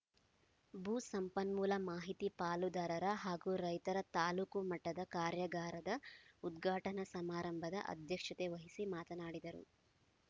ಭೂ ಸಂಪನ್ಮೂಲ ಮಾಹಿತಿ ಪಾಲುದಾರರ ಹಾಗೂ ರೈತರ ತಾಲೂಕು ಮಟ್ಟದ ಕಾರ್ಯಾಗಾರದ ಉದ್ಘಾಟನಾ ಸಮಾರಂಭದ ಅಧ್ಯಕ್ಷತೆ ವಹಿಸಿ ಮಾತನಾಡಿದರು